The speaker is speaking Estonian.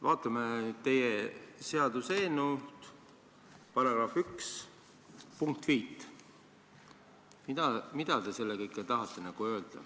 Vaatame nüüd teie seaduseelnõu § 1 punkti 5. Mida te sellega tahate öelda?